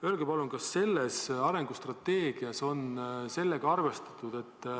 Öelge palun, kas selles arengustrateegias on niisuguse asjaga arvestatud.